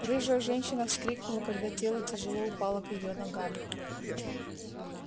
рыжая женщина вскрикнула когда тело тяжело упало к её ногам